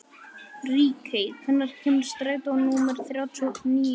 Ríkey, hvenær kemur strætó númer þrjátíu og níu?